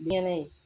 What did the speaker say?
Biyɛn